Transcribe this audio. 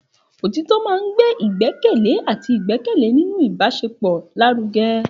Òtítọ́ máa ń gbé ìgbẹ́kẹ̀lé àti ìgbẹ́kẹ̀lé nínú ìbáṣepọ̀ lárugẹ.